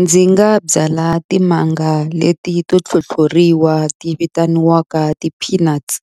Ndzi nga byala timanga leti to tlhotlhoriwa ti vitaniwaka ti-peanuts